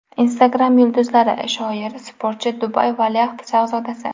Instagram yulduzi: shoir, sportchi, Dubay valiahd shahzodasi.